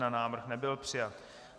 Návrh nebyl přijat.